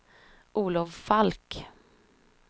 Olov Falk